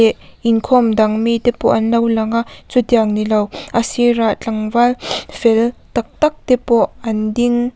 inkhawm dang mite pawh an lo lang a chu tiang ni lo a sir ah tlangval fel tak tak te pawh an ding.